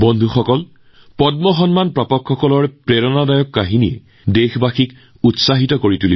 বন্ধুসকল পদ্ম বঁটা বিজয়ী প্ৰতিগৰাকীৰ অৱদান দেশবাসীৰ বাবে প্ৰেৰণাদায়ক